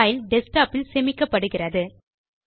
file desktop இல் சேமிக்கப்படுகிறது